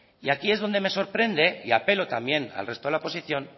y aquí es donde me sorprende y apelo también al resto de la oposición